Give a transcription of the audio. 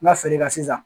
N ka feere kɛ sisan